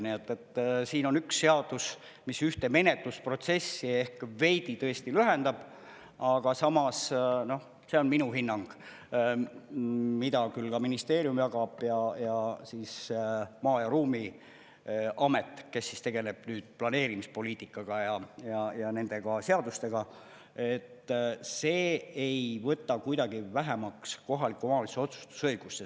Nii et siin on üks seadus, mis ühte menetlusprotsessi ehk veidi tõesti lühendab, aga samas, noh, see on minu hinnang, mida küll ka ministeerium jagab ja Maa‑ ja Ruumiamet, kes tegeleb planeerimispoliitikaga ja nende seadustega, et see ei võta kuidagi vähemaks kohaliku omavalitsuse otsustusõigust.